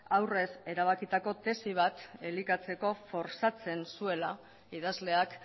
aurrez erabakitako tesi bat elikatzeko forzatzen zuela idazleak